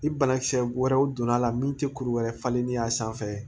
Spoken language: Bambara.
I banakisɛ wɛrɛw donna a la min tɛ kuru wɛrɛ falenni ye a sanfɛ